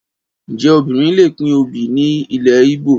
Ǹjẹ́ obìnrin lè pín obì nílẹ̀ Ígbò?